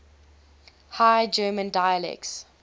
high german dialects